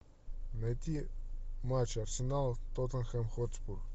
найти матч арсенал тоттенхэм хотспур